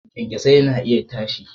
kyanksosai na iya firiya.